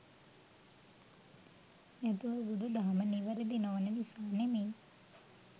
නැතුව බුදු දහම නිවැරදි නොවන නිසා නෙමෙයි.